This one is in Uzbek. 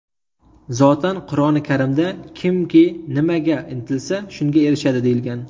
Zotan, Qur’oni Karimda kimki nimaga intilsa, shunga erishadi, deyilgan.